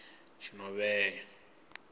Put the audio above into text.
tshinovhea